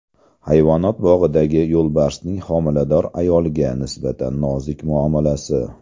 Hayvonot bog‘idagi yo‘lbarsning homilador ayolga nisbatan nozik muomalasi.